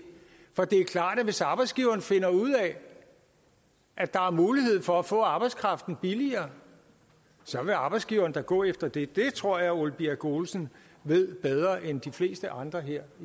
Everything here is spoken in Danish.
for det er klart at hvis arbejdsgiveren finder ud af at der er mulighed for at få arbejdskraften billigere så vil arbejdsgiveren da gå efter det det tror jeg herre ole birk olesen ved bedre end de fleste andre her